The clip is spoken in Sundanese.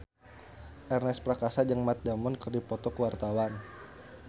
Ernest Prakasa jeung Matt Damon keur dipoto ku wartawan